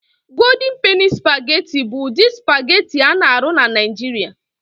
Godin Peni Supagetị bụ ụdị supagetị a na-arụ na Niijiria.